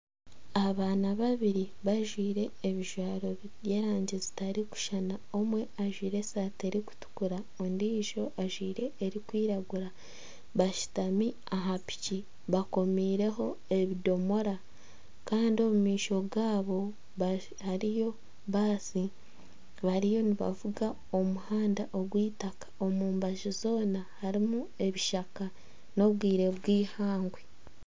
Abaana babiri bajwaire ebijwaro by'erangi zitari kushuushana omwe ajwaire esaati erikutuukura ondijo ajwaire erikwiragura bashutami aha piiki bakomireho ebidoomora kandi omu maisho gaabo hariyo baasi bariyo nibavuga omu muhanda gw'itaaka omubaju zoona harimu ebishaka n'obwire bw'eihangwe.